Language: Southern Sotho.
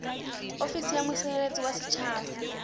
ofisi ya mosireletsi wa setjhaba